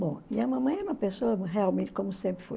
Bom, e a mamãe é uma pessoa, realmente, como sempre foi.